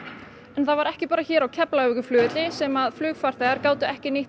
en það var ekki bara hér á Keflavíkurflugvelli sem flugfarþegar gátu ekki nýtt